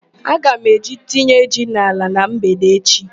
Aga m eje tinye ji n'ala na mgbede echi.